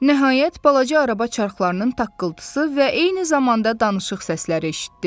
Nəhayət, balaca araba çarxlarının taqqıltısı və eyni zamanda danışıq səsləri eşitdi.